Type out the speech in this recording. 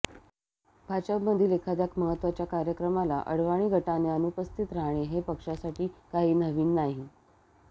भाजपमधील एखाद्या महत्त्वाच्या कार्यक्रमाला अडवाणी गटाने अनुपस्थित राहणे हे पक्षासाठी काही नवीन नाही